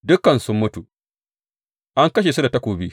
Dukansu sun mutu, an kashe su da takobi.